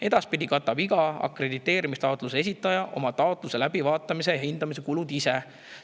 Edaspidi katab iga akrediteerimistaotluse esitaja oma taotluse läbivaatamise ja hindamise kulud ise.